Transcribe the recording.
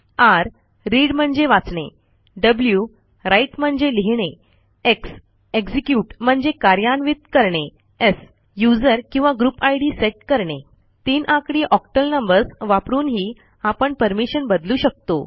r read म्हणजे वाचणे w write म्हणजे लिहिणे x एक्झिक्युट म्हणजे कार्यान्वित करणे s यूझर किंवा ग्रुप इद सेट करणे तीन आकडी ऑक्टल नंबर्स वापरूनही आपण परमिशन बदलू शकतो